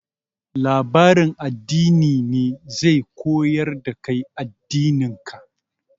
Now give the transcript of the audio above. Labarin addini ne zai koyar da kai addinin ka.